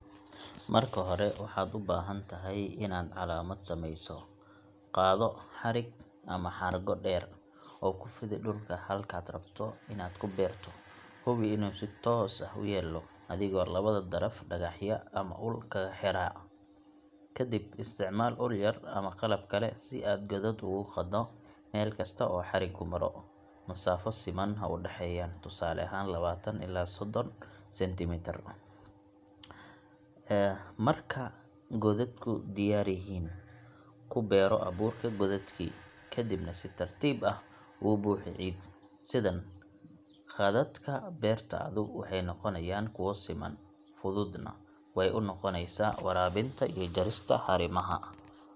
Haddii aad rabto inaad si toos ah u beerto, marka hore waxaad u baahan tahay inaad calaamad sameyso. Qaado xarig ama xargo dheer, oo ku fidi dhulka halkaad rabto inaad ku beerto. Hubi inuu si toos ah u yaallo adigoo labada daraf dhagax ama ul kaga xiraa. Kadib, isticmaal ul yar ama qalab kale si aad godad ugu qoddo meel kasta oo xarigu maro masaafo siman ha u dhexeeyaan, tusaale ahaan lawatan ilaa soddon centimeter. Marka godadku diyaar yihiin, ku beero abuurka godadkii, kadibna si tartiib ah ugu buuxi ciid. Sidan, khadadka beertaadu waxay noqonayaan kuwo siman, fududna way u noqonaysaa waraabinta iyo jarista haramaha.